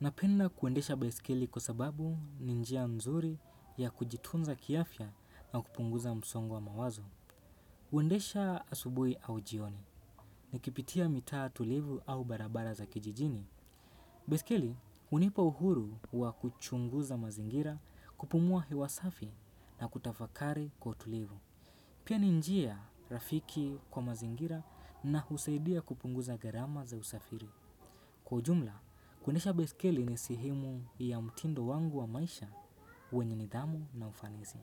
napenda kuendesha baiskeli kwa sababu ni njia nzuri ya kujitunza kiafya na kupunguza msongo wa mawazo. Huendesha asubuhi au jioni, nikipitia mitaa tulivu au barabara za kijijini. Baiskeli, hunipa uhuru wa kuchunguza mazingira kupumua hewa safi na kutafakari kwa utulivu. Pia ni njia rafiki kwa mazingira na husaidia kupunguza gharama za usafiri. Kwa ujumla, kwendesha baiskeli ni sehemu ya mtindo wangu wa maisha wenye nidhamu na ufanisi.